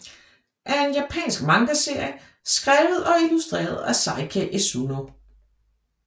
er en japansk mangaserie skrevet og illustreret af Sakae Esuno